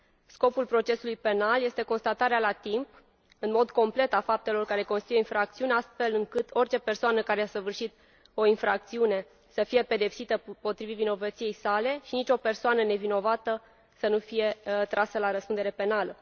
Scopul procesului penal este constatarea la timp, în mod complet, a faptelor care constituie infracțiuni, astfel încât orice persoană care a săvârșit o infracțiune să fie pedepsită potrivit vinovăției sale și nicio persoană nevinovată să nu fie trasă la răspundere penală.